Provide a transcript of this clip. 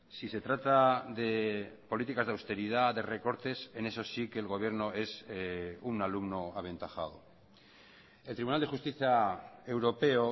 si se trata de políticas de austeridad de recortes en eso sí que el gobierno es un alumno aventajado el tribunal de justicia europeo